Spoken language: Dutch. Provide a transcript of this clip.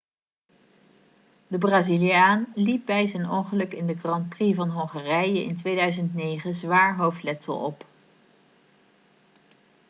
de braziliaan liep bij zijn ongeluk in de grand prix van hongarije in 2009 zwaar hoofdletsel op